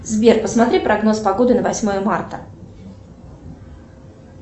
сбер посмотри прогноз погоды на восьмое марта